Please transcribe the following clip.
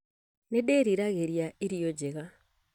Nĩ ndĩriragĩria irio njega